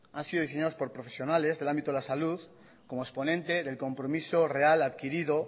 han sido diseñados por profesionales del ámbito de la salud como exponente del compromiso real adquirido